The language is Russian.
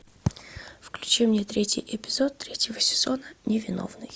включи мне третий эпизод третьего сезона невиновный